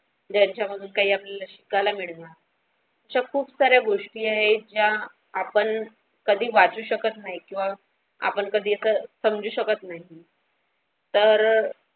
त्याच्यामधून काही आपल्याला शिकायला मिळणार अशा खूप साऱ्या गोष्टी आहे त्या आपण कधी वाचू शकत नाही किंवा आपण कधी एकसमजू शकत नाही तर.